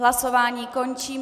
Hlasování končím.